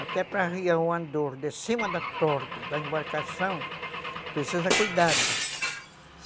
Até para arriar o andor de cima da torre da embarcação, precisa cuidado.